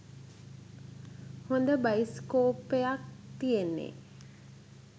හොද බයිස්කෝප්පයක් තියෙන්නෙ.